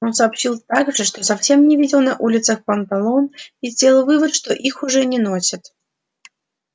он сообщил также что совсем не видел на улицах панталон и сделал вывод что их уже не носят